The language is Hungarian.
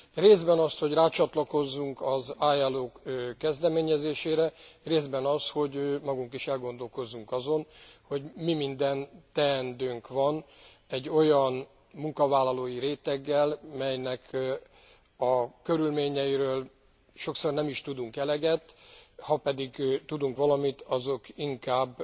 részben azt, hogy rácsatlakozzunk az ILO kezdeményezésére, részben azt, hogy magunk is elgondolkozzunk azon, hogy mi minden teendőnk van egy olyan munkavállalói réteggel, melynek a körülményeiről sokszor nem is tudunk eleget, ha pedig tudunk valamit, azok inkább